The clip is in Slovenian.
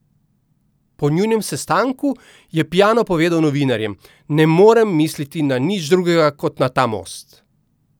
Po njunem sestanku je Piano povedal novinarjem: "Ne morem misliti na nič drugega kot na ta most.